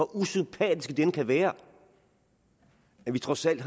usympatiske de end kan være har vi trods alt